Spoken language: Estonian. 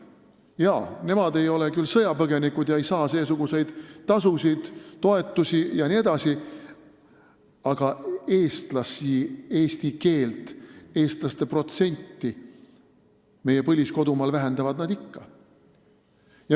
Jaa, nemad ei ole küll sõjapõgenikud ega saa pagulastele ettenähtud toetusi, aga eestlaste protsenti ja eesti keele kasutamist meie põlisel kodumaal vähendavad nad ikka.